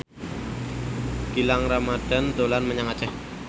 Gilang Ramadan dolan menyang Aceh